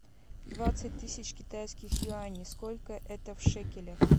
двадцать тысяч китайских юаней сколько это в шекелях